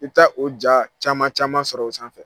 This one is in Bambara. I ta o ja caman caman sɔrɔ o sanfɛ.